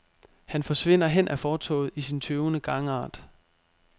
Han forsvinder hen ad fortovet i sin tøvende gangart.